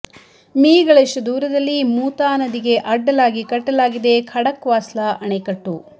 me ಗಳಷ್ಟು ದೂರದಲ್ಲಿ ಮೂತಾ ನದಿಗೆ ಅಡ್ಡಲಾಗಿ ಕಟ್ಟಲಾಗಿದೆ ಖಡಕ್ವಾಸ್ಲಾ ಆಣೆಕಟ್ಟು